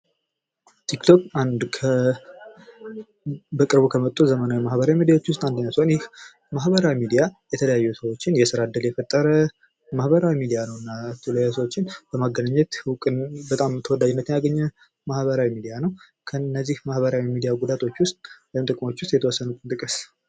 ቲክቶክ በቅርቡ ከመጡ ዘመናዊ ሚዲያዎች ዉስጥ አንዱ ሲሆን ይህ ማህበራዊ ሚዲያ የተለያዩ ሰዎችን የስራ እድል የፈጠረ ማህቀራዊ ሚዲያ ነዉ። የተለያዩ ሰዎችን በማገናኘት በጣም እዉቅናና ተወዳጅነትን ያገኘ ማህበራዊ ሚዲያ ነዉ። ከእነዚህ ማህበራዊ ሚዲያ አገልግሎቶች ዉስጥ ወይም ጥቅሞች ዉስጥ የተወሰኑትን ጥቀሱ?